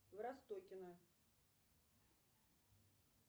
в ростокино